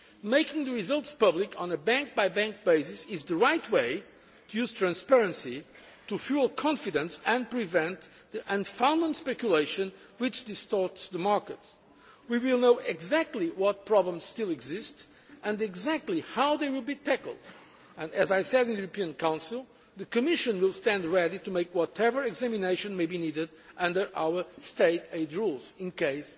Making the results public on a bank by bank basis is the right way to use transparency to fuel confidence and prevent the speculation which distorts the markets. We will know exactly what problems still exist and exactly how they will be tackled and, as I said in the European Council, the Commission will stand ready to make whatever examination may be needed under our State aid rules in